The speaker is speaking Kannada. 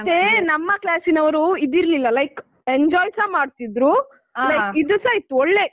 ಮತ್ತೆ ನಮ್ಮ class ನವರು ಇದಿರ್ಲಿಲ್ಲ like enjoy ಸ ಮಾಡ್ತಿದ್ರು like ಇದುಸ ಇತ್ತು ಒಳ್ಳೆ.